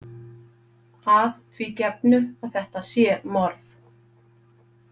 Að því gefnu að þetta sé morð.